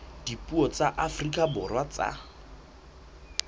dipuo tsa afrika borwa tsa